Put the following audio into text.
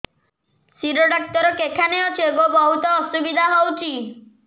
ଶିର doctor କେଖାନେ ଅଛେ ଗୋ ବହୁତ୍ ଅସୁବିଧା ହଉଚି